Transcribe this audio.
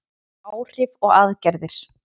Áhrif og aðgerðir.